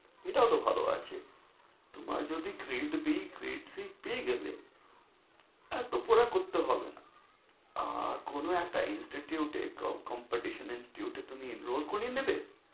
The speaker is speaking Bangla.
এটাও তো ভালো আছে। তোমার যদি grade B, grade C পেয়ে গেলে তা তো পুরা করতে হবে না। আর কোনো একটা institure এ competition institiure এ তুমি enroll করিয়ে নিবে।